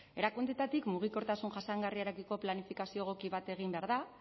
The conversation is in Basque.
erakundeetatik mugikortasun jasangarriarekiko planifikazio egoki bat egin behar da